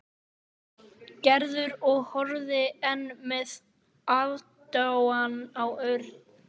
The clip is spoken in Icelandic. Gerður og horfði enn með aðdáun á Örn.